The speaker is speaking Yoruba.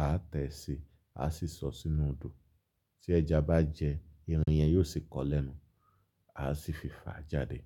a tẹ̀ sí, a sì sọ sínú odò. Tí ẹja bá jẹ, irin yẹn yóò sì kọ́lẹ̀nu, a sì fifa jáde.